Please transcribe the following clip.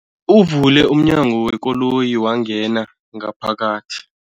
Uvule umnyango wekoloyi wangena ngaphakathi.